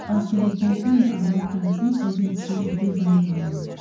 as you dey complain about tithe no forget say e dey bible oo